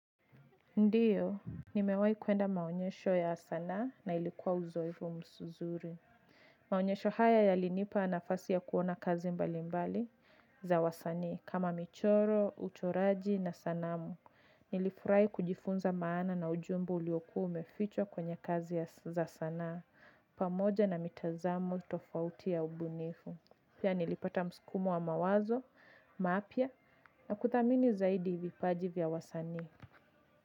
Ndiyo, nimewai kuenda maonyesho ya sanaa na ilikuwa uzoefu mzuri. Maonyesho haya yalinipa nafasi ya kuona kazi mbali mbali za wasanii kama michoro, uchoraji na sanamu. Nilifurahi kujifunza maana na ujumbe uliokua umefichwa kwenye kazi ya za sanaa pamoja na mitazamo tofauti ya ubunifu. Pia nilipata msukumo wa mawazo, mapya na kudhamini zaidi vipaji vya wasanii.